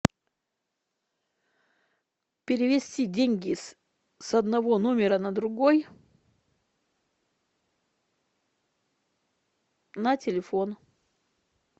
перевести деньги с одного номера на другой на телефон